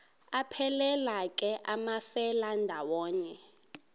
aphelela ke amafelandawonye